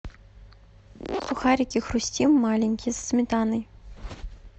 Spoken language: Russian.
сухарики хрустим маленькие со сметаной